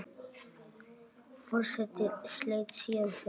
Forseti sleit síðan fundi.